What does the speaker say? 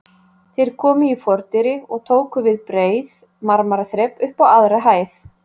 Þeir komu í fordyri og við tóku breið marmaraþrep upp á aðra hæð.